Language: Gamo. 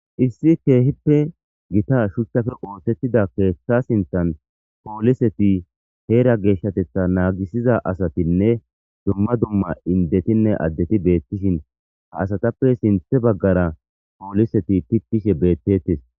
issi keehippe gita shuchchafe ootettida keeththa sintan pooliseti heera geeshshatetha naagisiza asatinne dumma dumma indetinne addeti beettishin ha asatappe sinthe baggara pooliseti pittishe beettettes